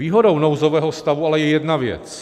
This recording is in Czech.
Výhodou nouzového stavu je ale jedna věc.